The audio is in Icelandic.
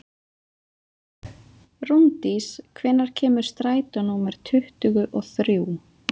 Rúndís, hvenær kemur strætó númer tuttugu og þrjú?